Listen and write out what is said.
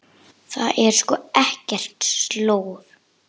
Það er sko ekkert slor.